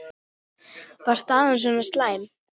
Var staðan svona slæm?